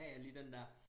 Ja ja lige den der